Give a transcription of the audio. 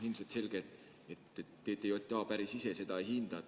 Ilmselt selge, et TTJA päris ise seda ei hinda.